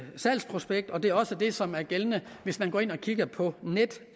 salgsprospekt og det er også det som er gældende hvis man går ind og kigger på